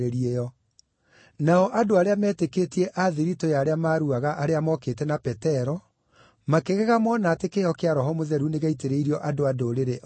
Nao andũ arĩa meetĩkĩtie, a thiritũ ya arĩa maruaga, arĩa mokĩte na Petero makĩgega mona atĩ kĩheo kĩa Roho Mũtheru nĩgĩaitĩrĩirio andũ-a-Ndũrĩrĩ o nao.